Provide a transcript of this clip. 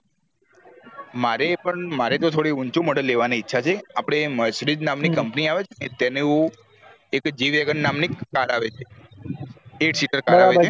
મારે પણ મારે થોડી ઊંચું model લેઅવા ની ઈચ્છા છે આપડે mercedes company આવે છે ને તેનું G wagon નામ ની car આવે છે three seater